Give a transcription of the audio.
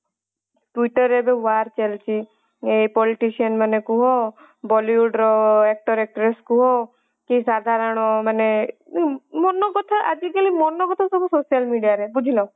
twiter ରେ ଏବେ war ଚାଲିଛି ଏଇ politician ମାନେ କୁହ bollywood ର actor actress କୁହ କି ସାଧାରଣ ମାନେ ମନ କଥା ଆଜି କଲି ମନ କଥା ସବୁ social media ରେ ବୁଝିଲ